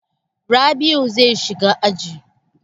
Rabl'u zai shiga aji.